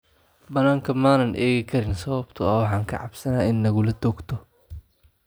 Banaanka ma aan eegi karin sababtoo ah waxaan ka cabsanay in nalagu toogto."